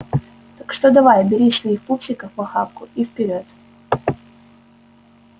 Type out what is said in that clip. так что давай бери своих пупсиков в охапку и вперёд